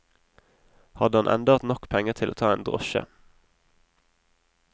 Hadde han enda hatt nok penger til å ta en drosje.